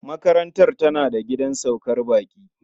Makarantar tana da gidan saukar baƙi.